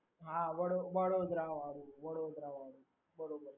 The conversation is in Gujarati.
હા વડો વડોદરાવાળું વડોદરાવાળું વડોદરા